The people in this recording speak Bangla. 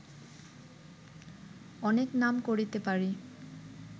অনেক নাম করিতে পারি